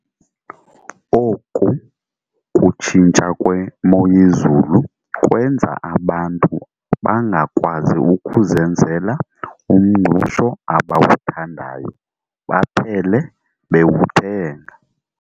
Oku kutshintsha kwemoyezulu kwenza abantu bangakwazi ukuzenzela umngqusho abawuthandayo baphele bewuthenga.